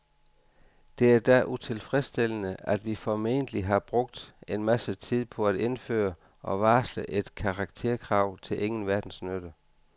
Det er da utilfredsstillende, at vi formentlig har brugt en masse tid på at indføre og varsle et karakterkrav til ingen verdens nytte.